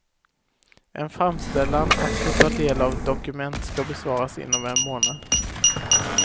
En framställan att få ta del av ett dokument ska besvaras inom en månad.